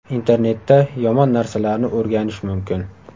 Internetda yomon narsalarni o‘rganish mumkin.